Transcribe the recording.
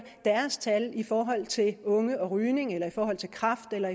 deres tal i forhold til unge og rygning eller i forhold til kræft eller